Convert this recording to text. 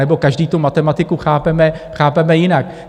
Anebo každý tu matematiku chápeme jinak.